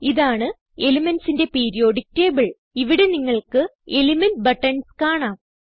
ഇതാണ് elementsന്റെ periodic table ഇവിടെ നിങ്ങൾക്ക് എലിമെന്റ് ബട്ടൺസ് കാണാം